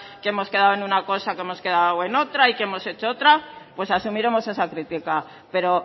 que hemos quedado en una cosa que hemos quedado en otra y que hemos hecho otra pues asumiremos esa crítica pero